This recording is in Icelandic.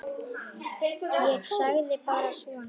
Ég sagði bara svona.